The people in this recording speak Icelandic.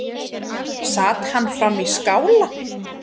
Sat hann frammi í skála.